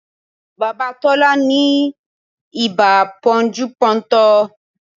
Bàbá Tọ́lá ni ibà pọ́njú pọ́ntọ̀